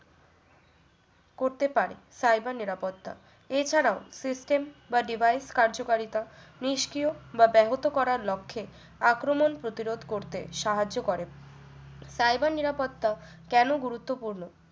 করতে পারে cyber নিরাপত্তা এছাড়াও system বা device কার্যকারিতা নিষ্ক্রিয় বা ব্যাহত করার লক্ষ্যে আক্রমণ প্রতিরোধ করতে সাহায্য করে cyber নিরাপত্তা কেন গুরুত্বপূর্ণ